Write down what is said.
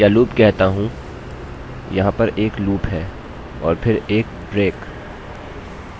यहाँ पर एक लूप है और फिर एक break विराम अब क्या होगा जब तक 1=1 यह एक लूप बनाएगा